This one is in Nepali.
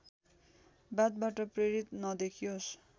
वादबाट प्रेरित नदेखियोस्